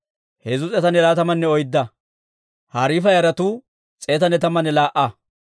Beeti-Azimaawetuwaa katamaa Asay oytamanne laa"uwaa.